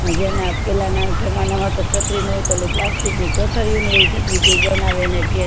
ને જેના પેલા ના જમાનામાં તો ચાતરી નોતી એટલે plastic ની કોથળી ચાતરી જેવું બનાવે અને કે